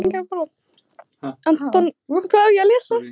Anton Ari Einarsson var í markinu í dag en verður Ingvar klár á laugardag?